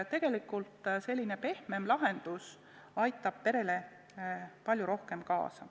Tegelikult aitab selline pehmem lahendus peresid palju rohkem.